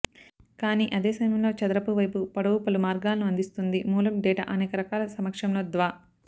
కానీ అదే సమయంలో చదరపు వైపు పొడవు పలు మార్గాలను అందిస్తుంది మూలం డేటా అనేక రకాల సమక్షంలో ద్వా